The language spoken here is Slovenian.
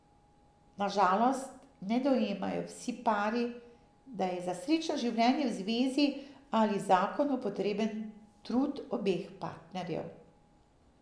Na žalost ne dojemajo vsi pari, da je za srečno življenje v zvezi ali zakonu potreben trud obeh partnerjev.